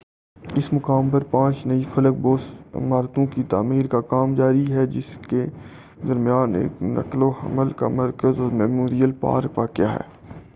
اس مقام پر پانچ نئی فلک بوس عمارتوں کی تعمیر کا کام جاری ہے جس کے درمیان ایک نقل وحمل کا مرکز اور میموریل پارک واقع ہے